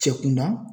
Cɛ kunda